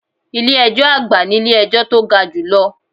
Ilé ẹjọ́ àgbà nílé ejọ́ tó ga jù lọ.